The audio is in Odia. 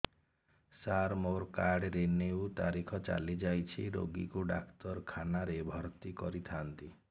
ସାର ମୋର କାର୍ଡ ରିନିଉ ତାରିଖ ଚାଲି ଯାଇଛି ରୋଗୀକୁ ଡାକ୍ତରଖାନା ରେ ଭର୍ତି କରିଥାନ୍ତି